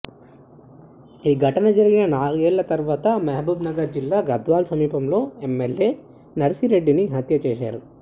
ఈ ఘటన జరిగిన నాలుగేళ్ల తర్వాత మహబూబ్ నగర్ జిల్లా గద్వాల సమీపంలో ఎమ్మెల్యే నర్సిరెడ్డిని హత్య చేశారు